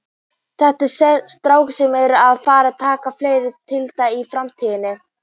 Þetta eru strákar sem eru að fara að taka fleiri titla í framtíðinni.